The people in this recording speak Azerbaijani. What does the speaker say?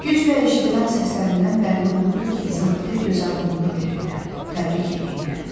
Güclə eşidilən səslərindən bəlli olurdu ki, zabitə gözaydınlığı verirlər, təbrik eləyirlər.